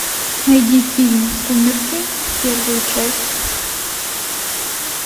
найди фильм сумерки первую часть